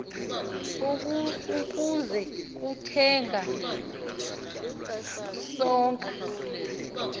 ukuza kuthenga isonka